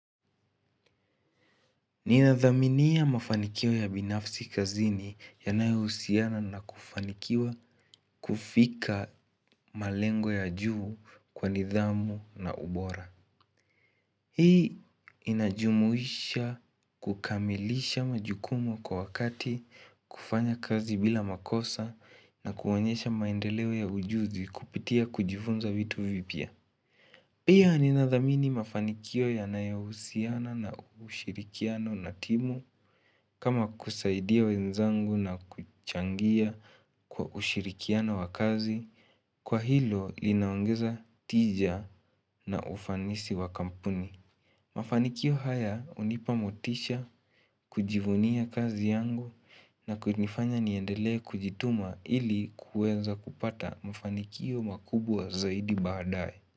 Ninadhaminiya mafanikio ya binafsi kazini yanaeusiana na kufanikiwa kufika malengo ya juu kwa nidhamu na ubora. Hii inajumuisha kukamilisha majukumu kwa wakati kufanya kazi bila makosa na kuonyesha maendeleo ya ujuzi kupitia kujufunza vitu vipia. Pia ninadhamini mafanikio yanayahusiana na ushirikiano na timu kama kusaidia wenzangu na kuchangia kwa ushirikiano wa kazi, kwa hilo linaongeza tija na ufanisi wa kampuni. Mafanikio haya hunipamotisha kujivunia kazi yangu na kunifanya niendele kujituma ili kueza kupata mafanikio makubwa zaidi badae.